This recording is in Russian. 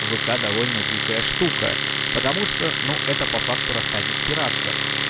вк довольно дикая штука потому что ну это по факту рассадник пиратства